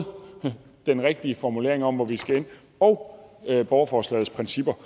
den rigtige formulering om hvor vi skal ende og borgerforslagets principper